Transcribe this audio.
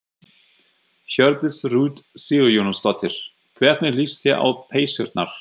Hjördís Rut Sigurjónsdóttir: Hvernig líst þér á peysurnar?